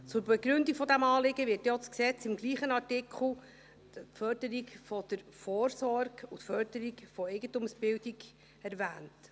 Zur Begründung dieses Anliegens werden im Gesetz im selben Artikel die «Förderung der Vorsorge» und die «Förderung der Eigentumsbildung» erwähnt.